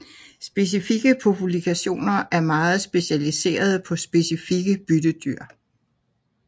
Specifikke populationer er meget specialiserede på specifikke byttedyr